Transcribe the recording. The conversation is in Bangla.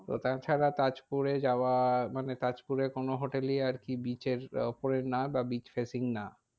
তো তা ছাড়া তাজপুরে যাওয়া মানে তাজপুরে কোনো hotel ই আর কি beach এর ওপরে না বা beach facing না।